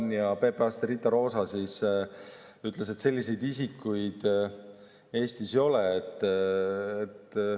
PPA‑st Riita Proosa ütles, et selliseid isikuid Eestis ei ole.